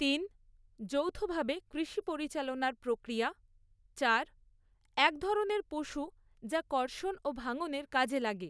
তিন যৌথভাবে কৃষি পরিচালনার প্রক্রিয়া চার এক ধরনের পশু যা কর্ষণ ও ভাঙনের কাজে লাগে।